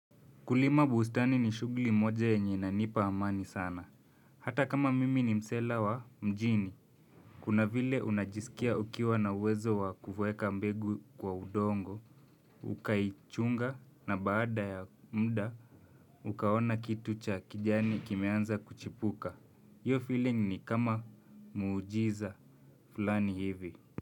Kulima bustani ni shughuli moja yenye inanipa amani sana. Hata kama mimi ni msela wa mjini. Kuna vile unajisikia ukiwa na uwezo wa kuweka mbegu kwa udongo, ukaichunga na baada ya muda, ukaona kitu cha kijani kimeanza kuchipuka. Hiyo feeling ni kama muujiza fulani hivi.